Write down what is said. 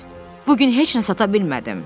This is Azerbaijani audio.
Bu gün heç nə sata bilmədim.